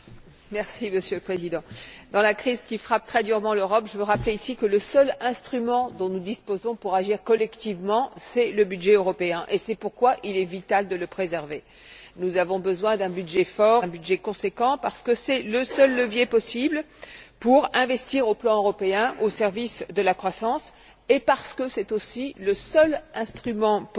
Monsieur le Président, dans le contexte de la crise qui frappe très durement l'Europe, je veux rappeler ici que le seul instrument dont nous disposons pour agir collectivement, c'est le budget européen. C'est pourquoi il est vital de le préserver. Nous avons besoin d'un budget fort et d'un budget conséquent, car c'est le seul levier permettant d'investir au plan européen au service de la croissance et car c'est aussi le seul instrument permettant de